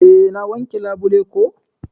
Eh na wanke labule ko.